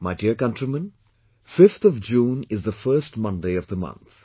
My dear countrymen, 5th of June is the first Monday of the month